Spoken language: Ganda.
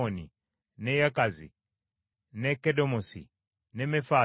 ne Yakazi, ne Kedemosi, ne Mefaasi;